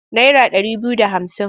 Naira ɗari biyu da hamsin?